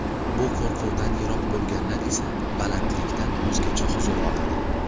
Bu qo‘rquvdan yiroq bo‘lganlar esa balandlikdan o‘zgacha huzur oladi.